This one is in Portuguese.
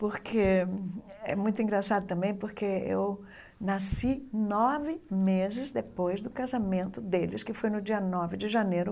Porque é muito engraçado também porque eu nasci nove meses depois do casamento deles, que foi no dia nove de janeiro